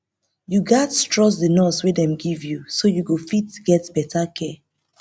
you gats trust the nurse wey dem give you so you fit get better care